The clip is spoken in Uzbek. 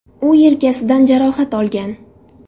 U yelkasidan jarohat olgan.